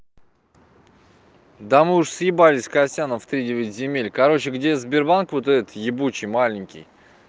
да мы уже съебались с костяном в тридевять земель короче где сбербанк вот этот ебучей маленький